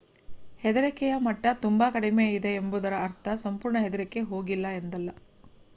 ಹೆದರಿಕೆಯ ಮಟ್ಟ ತುಂಬಾ ಕಡಿಮೆಯಿದೆ ಎಂಬುದರ ಅರ್ಥ ಸಂಪೂರ್ಣ ಹೆದರಿಕೆ ಹೋಗಿದೆ ಎಂದಲ್ಲ